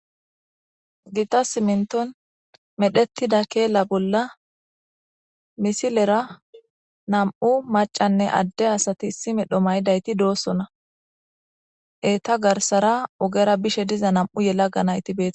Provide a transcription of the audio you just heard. Gita siminton medhettida keela bolla misilera nam7u macanne adde asati isime dhomaydayti doossona eeta garsara ogera bishe diza nam7u yela ga nayti bete.